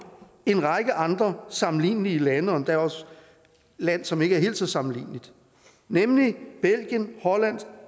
en række andre sammenlignelige lande og endda også lande som ikke er helt så sammenlignelige nemlig belgien holland